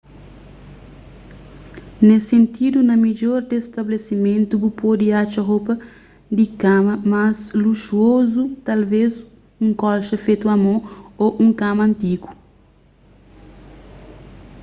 nes sentidu na midjor des stabelesimentu bu pode atxa ropa di kama más luxuozu talvês un kolxa fetu a mon ô un kama antigu